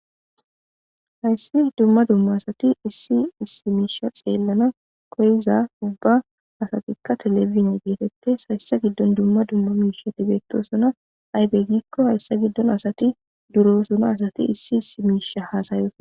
Hayisan duma duma asati xelanawu koyiza izika televidzine getetes etika duma duma misha getetosoma iza gidon asati durosona asati issi misha otosona